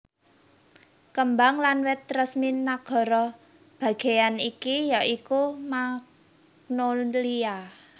Kembang lan wit resmi nagara bagéyan iki ya iku magnolia